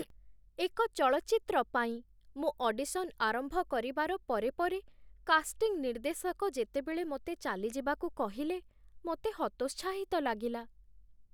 ଏକ ଚଳଚ୍ଚିତ୍ର ପାଇଁ ମୁଁ ଅଡିସନ୍ ଆରମ୍ଭ କରିବାର ପରେ ପରେ କାଷ୍ଟିଂ ନିର୍ଦ୍ଦେଶକ ଯେତେବେଳ ମୋତେ ଚାଲିଯିବାକୁ କହିଲେ, ମୋତେ ହତୋତ୍ସାହିତ ଲାଗିଲା।